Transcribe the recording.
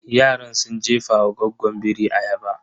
Yaran sun jefawa goggon biri ayaba.